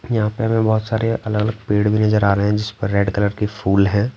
यहाँ पे हमें बहुत सारे अलग-अलग पेड़ भी नजर आ रहे हैं जिस पर रेड कलर के फूल है।